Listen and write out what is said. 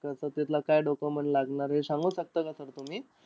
तसं तिथलं काय document लागणार, हे सांगू शकता का sir तुम्ही?